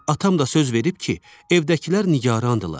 Atam da söz verib ki, evdəkilər nigarandırlar.